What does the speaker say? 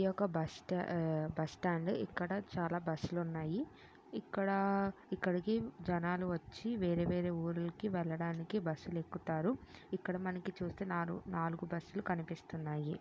ఇది ఒక్క బస్ట్ ఆ బస్టాండ్ ఇక్కడ చాలా బస్సు లు ఉన్నాయి. ఇక్కడా ఇక్కడికి జనాలు వచ్చి వేరే వేరే ఊర్లకి వెళ్లడానికి బస్సు లు ఎక్కుతారు. ఇక్కడ మనకి చూస్తే నాలుగు నాలుగు బస్సు లు కనిపిస్తున్నాయి.